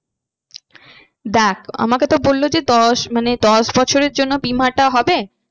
দেখ আমাকে তো বললো যে দশ মানে দশ বছরের জন্য বিমাটা হবে।